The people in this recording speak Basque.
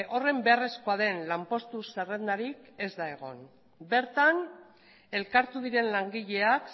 horren beharrezkoa den lanpostu zerrendarik ez da egon bertan elkartu diren langileak